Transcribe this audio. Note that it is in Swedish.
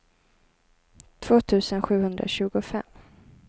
två tusen sjuhundratjugofem